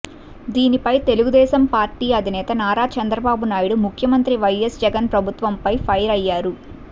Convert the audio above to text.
దీనిపై తెలుగుదేశం పార్టీ అధినేత నారా చంద్రబాబు నాయుడు ముఖ్యమంత్రి వైఎస్ జగన్ ప్రభుత్వంపై ఫైర్ అయ్యారు